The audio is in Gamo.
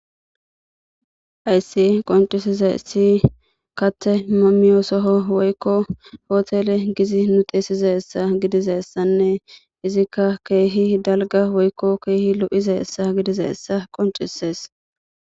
Hayisi qoncisizayisi kate nu miynuni woyikko hotele gizi nu xesidayisa gidizayisane izika kehi daliga woyikko kehi loizayisa gidizayisa qoncises.